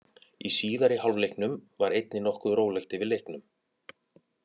Í síðari hálfleiknum var einnig nokkuð rólegt yfir leiknum.